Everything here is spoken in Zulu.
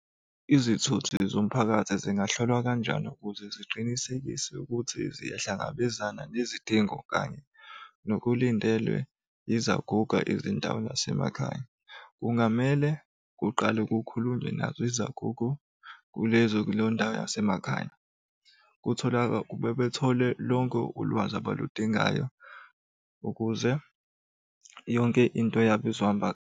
Izithuthi zomphakathi zingahlolwa kanjani ukuze kuqinisekise ukuthi ziyahlangabezana nezidingo kanye nokulindelwe yizaguga ezindaweni zasemakhaya? Kungamele kuqale kukhulunywe nazo izagugu kulezo kuleyo ndawo yasemakhaya. Bethole lonke ulwazi abaludingayo ukuze yonke into yabo izohamba.